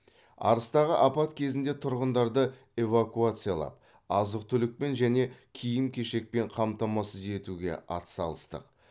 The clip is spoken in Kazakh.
арыстағы апат кезінде тұрғындарды эвакуациялап азық түлікпен және киім кешекпен қамтамасыз етуге ат салыстық